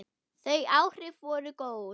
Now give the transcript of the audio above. Þau áhrif voru góð.